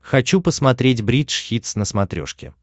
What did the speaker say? хочу посмотреть бридж хитс на смотрешке